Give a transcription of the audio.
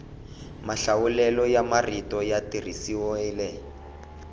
mahlawulelo ya marito ya tirhisiwile